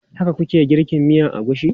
Haka ku ke girka miyan agushi?